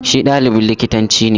Shi ɗalibin likitanci ne.